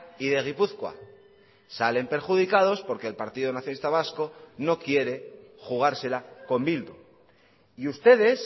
y de gipuzkoa salen perjudicados porque el partido nacionalista vasco no quiere jugársela con bildu y ustedes